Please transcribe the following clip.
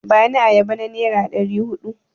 Bani ayaba na nera ɗari huɗu!